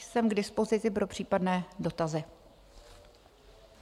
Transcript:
Jsem k dispozici pro případné dotazy.